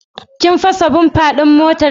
Kin fasa "bumper" din motarki?